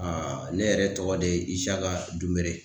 ne yɛrɛ tɔgɔ de ye Isaka Dunbere.